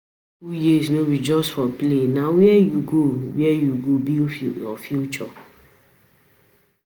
School years no be just for play, na where you go where you go build your future.